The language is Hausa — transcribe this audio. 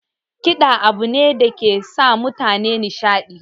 Kiɗa abu ne dake sa mutane nashiɗi